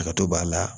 Ka to b'a la